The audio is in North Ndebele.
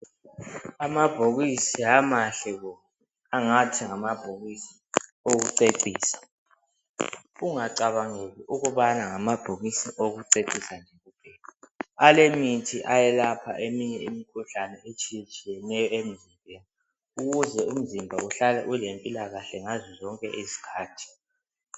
Amabhokisi amahle bo ngathi ngamabhokisi okucecisa ungacabangeli .Alemithi yokwelapha izinto ezitshiyetshiyeneyo emzimbeni ukuze umzimba ihlale ulempilakahle ngazozonke izikhathi.